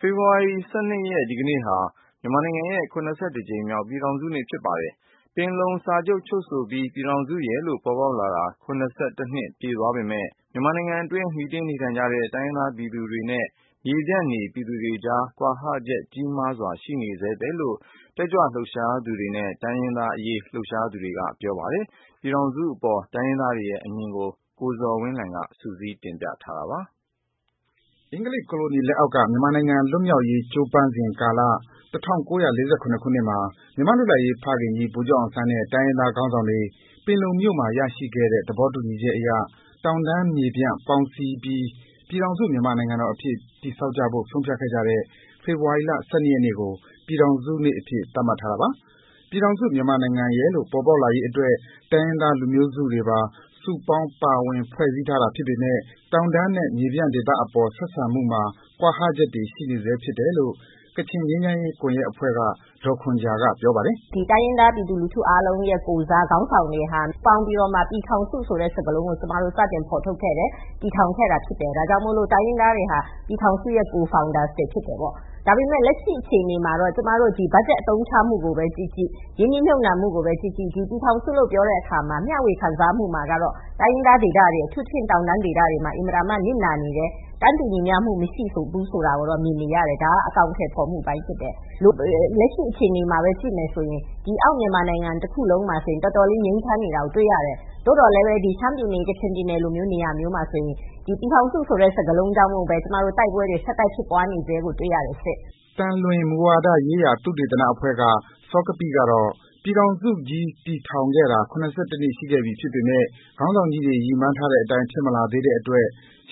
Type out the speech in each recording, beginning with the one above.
ဖေဖော်ဝါရီ ၁၂ ရက်နေ့ ဒီကနေ့ဟာ မြန်မာနိုင်ငံရဲ့ ၇၁ ကြိမ်မြောက် ပြည်ထောင်စုနေ့ ဖြစ်ပါတယ်။ ပင်လုံစာချုပ် ချုပ်ဆိုပြီး ပြည်ထောင်စုရယ်လို့ ပေါ်ပေါက်ခဲ့တာ ၇၁ နှစ် ပြည့်သွားပေမယ့် မြန်မာနိုင်ငံအတွင်း မှီတင်း နေထိုင်ကြတဲ့ တိုင်းရင်းသား ပြည်သူတွေနဲ့ မြေပြန့်နေ ပြည်သူတွေအကြား ကွာဟချက်တွေ ကြီးမားစွာ ရှိနေဘဲလို့ တက်ကြွလှုပ်ရှားသူတွေနဲ့ တိုင်းရင်းသား လူငယ်ခေါင်းဆောင်တွေက ပြောပါတယ်။ ပြည်ထောင်စုနေ့အပေါ် တိုင်းရင်းသားတွေရဲ့ အမြင်ကို ကိုဇော်ဝင်းလှိုင်က စုစည်း တင်ပြပေးထားပါတယ်။ အင်္ဂလိပ်ကိုလိုနီလက်အောက်က မြန်မာလွတ်လပ်ရေး ကြိုးပမ်းစဉ်ကာလ ၁၉၄၇ ခုနှစ်မှာ မြန်မာ့လွတ်လပ်ရေးဖခင်ကြီး ဗိုလ်ချုပ်အောင်ဆန်းနဲ့ တိုင်းရင်းသားခေါင်းဆောင်တွေ ပင်လုံမြို့မှာ ရရှိခဲ့တဲ့ သဘောတူ ညီချက်အရ တောင်တန်းမြေပြန့်ပေါင်းစည်းပြီး ပြည်ထောင်စုမြန်မာနိုင်ငံတော်အဖြစ် တည်ဆောက်ကြဖို့ ဆုံးဖြတ်ခဲ့ကြတဲ့ ဖေဖော်ဝါရီ ၁၂ ရက်နေ့ကို ပြည်ထောင်စုနေ့အဖြစ် သတ်မှတ်ထားတာပါ။ ပြည်ထောင်စုမြန်မာနိုင်ငံရယ်လို့ ပေါ်ပေါက်လာရေးအတွက် တိုင်းရင်းသားစုတွေပါ စုပေါင်းပါဝင်ဖွဲ့စည်းထားတာဖြစ်ပေမယ့် တောင်တန်းမြေပြန့်ဒေသအပေါ် ဆက်ဆံမှုမှာ ကွာဟချက်တွေရှိနေစဲဖြစ်တယ်လို့ ကချင်ငြိမ်းချမ်းရေး ကွန်ယက်အဖွဲ့က ဒေါ်ခွန်ဂျာက ပြောပါတယ်။ "တိုင်းရင်းသား ပြည်သူလူထုရဲ့ကိုယ်စား ခေါင်းဆောင်တွေဟာ ပူးပေါင်းပြီးတော့မှ ပြည်ထောင်စုဆိုတဲ့ စကားလုံးကို ကျမတို့ စတင်ဖော်ထုတ်တယ် တည်ထောင်ခဲ့တာဖြစ်တယ်။ ဒါကြောင့် တိုင်းရင်းသားတွေလည်း ပြည်ထောင်စုရဲ့ co-founder တွေဖြစ်တယ်ပေါ့။ ဒါပေမယ့် လက်ရှိအခြေအနေမှာတော့ ကျမတို့ ဘားဂျက်အသုံးချမှုကိုပဲ ကြည့်ကြည့် ၊ ရင်းနှီးမြုပ်နှံမှုကိုပဲ ကြည့်ကြည့် ပြည်ထောင်စုလို့ ပြောတဲ့အခါမှာတော့ တိုင်းရင်းသားဒေသတွေ အထူးသဖြင့် တောင်တန်းဒေသတွေမှာ နစ်နာနေတယ်၊ တန်းတူမှုမရှိဘူးဆိုတာကိုတော့ မြင်နေရတယ်။ ဒါအကောင်အထည်ဖော်မှုအပိုင်းဖြစ်တယ်။ လက်ရှိအခြေအနေမှာပဲ ကြည့်မယ်ဆိုရင် အောက်မြန်မာနိုင်ငံ တခုလုံးမှာ တော်တော်လေး ငြိမ်းချမ်းနေတာကို တွေ့ရတယ်။ သို့သော် ရှမ်းပြည်နယ်၊ ကချင်ပြည်နယ်လိုနေရာမျိုးမှာ ဒီပြည်ထောင်စုဆိုတဲ့ စကားလုံးကြောင့်မို့လို့ ကျမတို့ တိုက်ပွဲ ဆက်တိုက်ဖြစ်ပွားနေစဲကို တွေ့ရတယ်ရှင့်။" သံလွင်မူဝါဒရေးရာ သုတေသနအဖွဲ့က စောကပိကတော့ ပြည်ထောင်စုကြီးတည်ထောင်ခဲ့တာ ၇၁ နှစ်ဖြစ်ပေမယ့် ခေါင်းဆောင်ကြီးတွေ ရည်မှန်းထားတဲ့အတိုင်း ဖြစ်မလာသေးတဲ့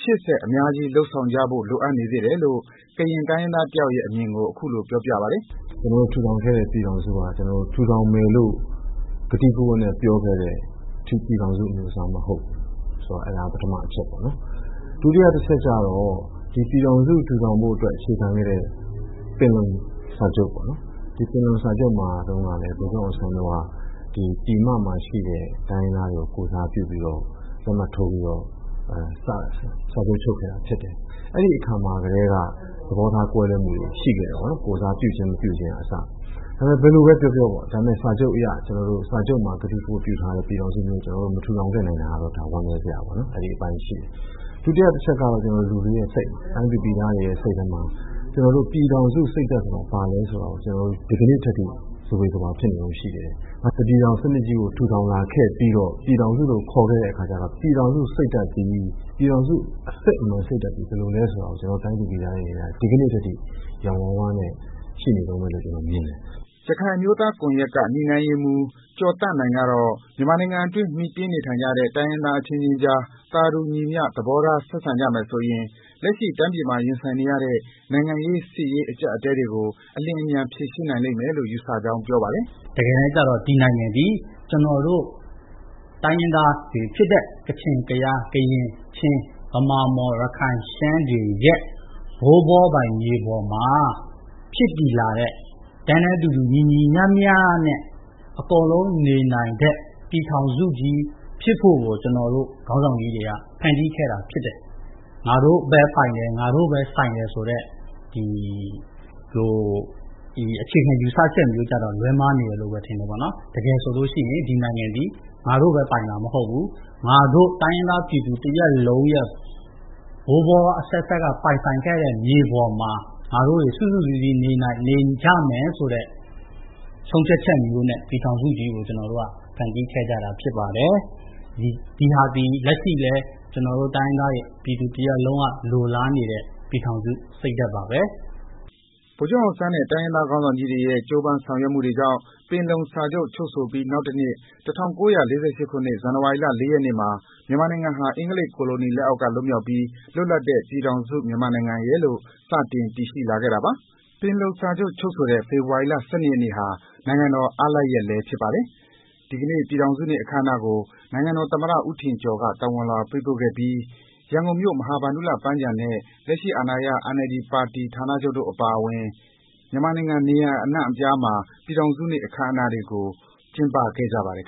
ရှေ့ဆက်အများကြီးလုပ်ဆောင်ကြဖို့ လိုအပ်နေကြောင်း ကရင်တိုင်းရင်းသားတယောက်အမြင်ကို ပြောပါတယ်။ " ကျနော်တို့ ထူထောင်ခဲ့တဲ့ ပြည်ထောင်စုဟာ ကျနော်တို့ ထူထောင်မယ်လို့ ကတိကဝတ်နဲ့ ပြောခဲ့တဲ့ ပြည်ထောင်စုအမျိုးအစားမဟုတ်ဘူး ဆိုတာ ပထမအချက်ပေါ့နော် ။ ဒုတိယအချက်ကတော့ ဒီပြည်ထောင်စု ထူထောင်ဖို့ အခြေခံခဲ့တဲ့ ပင်လုံစာချုပ်ပေါ့နော်။ ဒီပင်လုံစာချုပ်မှာလည်း ဗိုလ်ချုပ်အောင်ဆန်းက ပြည်မမှာရှိတဲ့ တိုင်းရင်းသားတွေကို ကိုယ်စားပြုပြီးတော့ လက်မှတ်ထိုး စာချုပ်ချုပ်ခဲ့တာဖြစ်တယ်။ အဲဒီအခါကတည်းက သဘောထားကွဲလွဲမှုတွေရှိခဲ့တယ်ပေါ့နော် ကိုယ်စားပြုခြင်းကအစ။ ဒါပေမယ့် ဘယ်လိုပဲ ပြောပြောပေါ့နော် စာချုပ်မှာ ကတိကဝတ်နဲ့ ပြောခဲ့တဲ့ ပြည်ထောင်စုမျိုးကို မထူထောင်ခဲ့နိုင်တာ ဝမ်းနည်းစရာပါ။ နောက်အချက်ကတော့ လူတွေရဲ့ စိတ်ပါ။ တိုင်းသူပြည်သားတွေမှာ ကျနော်တို့ ပြည်ထောင်စုစိတ်ဓါတ် ဆိုတာ ဘာလဲဆိုတာကို ဒီကနေ့ထိ ဇဝေဇဝါဖြစ်နေသေးတယ်။ တစ်ပြည်ထောင် စနစ်ကြီးကို ထူထောင်လာခဲ့ပြီးတော့ ပြည်ထောင်စုခေါ်ခဲ့တော့ ပြည်ထောင်စု အစစ်အမှန် စိတ်ဓါတ်သည် ဘယ်လိုလဲဆိုတာကို တိုင်းသူပြည်သားတွေအနေနဲ့ ဒီကနေ့ထိယောင်ဝါးဝါးနဲ့ ရှိနေတုန်းပဲ လို့ ကျနော်မြင်တယ်။" ရခိုင်အမျိုးသားကွန်ယက်က ညှိနှိုင်းရေးမှူး ကျော်သန့်နိုင် ကတော့ မြန်မာနိုင်ငံအတွင်း မှီတင်း နေထိုင်ကြတဲ့ တိုင်းရင်းသားအချင်းချင်းကြား သာတူညီမျှ သဘောထားဆက်ဆံကြမယ်ဆိုရင် လက်ရှိရင်ဆိုင်နေရတဲ့ နိုင်ငံရေး စစ်ရေးအကျပ်အတည်းတွေကို ဖြေရှင်းနိုင်မယ်လို့ ယူဆကြောင်းပြောပါတယ်။ " တကယ်တန်းကျတော့ ဒီနိုင်ငံသည် ကျနော်တို့ တိုင်းရင်းသားတွေဖြစ်တဲ့ ကချင်၊ ကယား၊ ကရင်၊ ချင်း၊ ဗမာ၊ မွန်၊ ရခိုင်၊ ရှမ်းတွေရဲ့ ဘိုးဘွားပိုင်မြေပေါ်မှာ ဖြစ်တည်လာတဲ့ တန်းတူညီမျှနဲ့ အကုန်လုံးနေထိုင်နိုင်တဲ့ ပြည်ထောင်စုကြီး ဖြစ်ဖို့ကို ကျနော်တို့ ခေါင်းဆောင်ကြီးတွေက ဖန်တီးခဲ့တာဖြစ်တယ်။ ငါတို့ပဲ ပိုင်တယ်၊ ငါတို့ပဲ ဆိုင်တယ်ဆိုတဲ့ ဒီလိုအခြေခံယူဆချက်တွေက လွဲမှားနေတယ် တကယ်ဆိုရင် ဒီနိုင်ငံသည် ငါတို့ပဲ ပိုင်တာမဟုတ်ဘူး။ တိုင်းရင်းသားပြည်သူ တရပ်လုံးရဲ့ ဘိုးဘွားအဆက်ဆက်က ပိုင်ဆိုင်ခဲ့တဲ့ မြေပေါ်မှာ ငါတို့တွေ စုစုစည်းစည်း နေကြမယ်ဆိုတဲ့ ဆုံးဖြတ်ချက်မျိုးနဲ့ ပြည်ထောင်စုကြီးကို ဖန်တီးခဲ့ကြတာဖြစ်ပါတယ်။ဒါသည် လက်ရှိ ကျနော်တို့ တိုင်းရင်းသားပြည်သူတရပ်လုံးက လိုလားနေတဲ့ ပြည်ထောင်စု စိတ်ဓါတ်ပါပဲ။" ဗိုလ်ချုပ်အောင်ဆန်းနဲ့ တိုင်းရင်းသားခေါင်းဆောင်တွေ ရဲ့ ကြိုးပမ်းဆောင်ရွက်မှုတွေကြောင့် ပင်လုံစာချုပ်ချုပ်ဆိုပြီး နောက်တနှစ် ၁၉၄၈ ဇန်နဝါရီ ၄ ရက်နေ့မှာ မြန်မာနိုင်ငံဟာ အင်္ဂလိပ်ကိုလိုနီလက်အောက်က လွတ်မြောက်ပြီး လွတ်လပ်တဲ့ ပြည်ထောင်စု မြန်မာနိုင်ငံရယ်လို့ စတင်ခဲ့တာပါ။ ပင်လုံစာချုပ်ချုပ်ဆိုတဲ့ ဖေဖော်ဝါရီ ၁၂ ရက်နေ့ဟာ နိုင်ငံတော် အားလပ်ရက်နေ့လည်း ဖြစ်ပါတယ်။ ဒီကနေ့ နိုင်ငံတော်သမ္မတဦးထင်ကျော်က ပြည်ထောင်စုနေ့ သဝဏ်လွှာပေးပို့ပြီး ရန်ကုန်မြို့ မဟာဗန္ဒူလ ပန်းခြံနဲ့ လက်ရှိအာဏာရ NLD ဌာနချုပ်တို့အပါအဝင် မြန်မာနိုင်ငံ နေရာအနှံ့မှာ ပြည်ထောင်စုနေ့ အခမ်းအနားတွေကို ကျင်းပခဲ့ကြပါတယ်